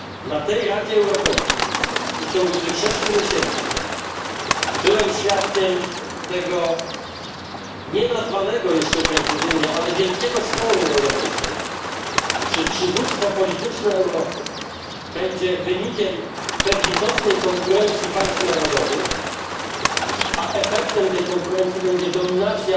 Na ostatnim szczycie Rady Europejskiej i w ciągu ubiegłych sześciu miesięcy byłem świadkiem tego jeszcze precyzyjnie nienazwanego, ale wielkiego sporu europejskiego czy przywództwo polityczne Europy będzie wynikiem bezlitosnej konkurencji państw narodowych, a efektem tej konkurencji będzie dominacja